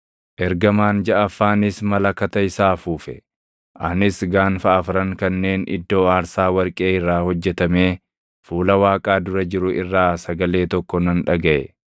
Ergamaan jaʼaffaanis malakata isaa afuufe; anis gaanfa afran kanneen iddoo aarsaa warqee irraa hojjetamee fuula Waaqaa dura jiru irraa sagalee tokko nan dhagaʼe.